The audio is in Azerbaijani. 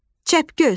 Çəpgöz.